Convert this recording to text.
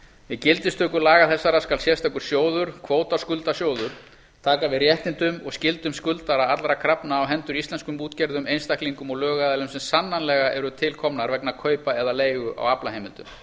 við gildistöku laga þessara skal sérstakur sjóður kvótaskuldasjóður taka við réttindum og skyldum skuldara allra krafna á hendur íslenskum útgerðum einstaklingum og lögaðilum sem sannanlega eru til komnar vegna kaupa eða leigu á aflaheimildum